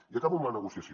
i acabo amb la negociació